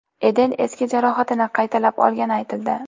Eden eski jarohatini qaytalab olgani aytildi.